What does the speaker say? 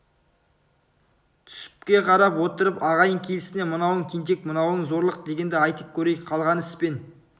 түсіпке қарап отырып ағайын келісіне мынауың тентек мынауың зорлық дегенді айтып көрейік қалған іс пен